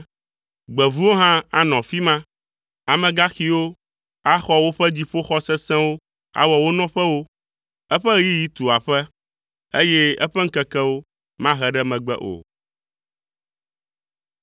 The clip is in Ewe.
Gbevuwo hã anɔ afi ma, Amegaxiwo axɔ woƒe dziƒoxɔ sesẽwo awɔ wo nɔƒewo. Eƒe ɣeyiɣi tu aƒe, eye eƒe ŋkekewo mahe ɖe megbe o.